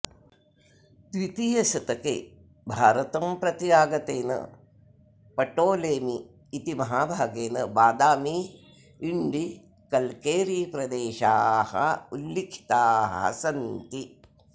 द्वितीयशतके भारतं प्रति आगतेन प्टोलेमि इति महाभागेन बादामी इण्डी कल्केरी प्रदेशाः उल्लिखिताः सन्ति